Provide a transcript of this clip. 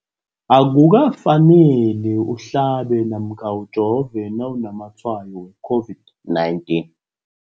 Akuka faneli uhlabe namkha ujove nawu namatshayo we-COVID-19.